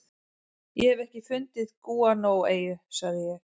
Ég hef ekki fundið gúanóeyju, sagði ég.